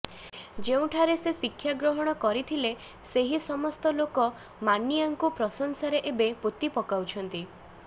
ଯେଉଁଠାରେ ସେ ଶିକ୍ଷା ଗ୍ରହଣ କରିଥିଲେ ସେହି ସମସ୍ତ ଲୋକ ମାନିଆଙ୍କୁ ପ୍ରଶଂସାରେ ଏବେ ପୋତି ପକଉଛନ୍ତି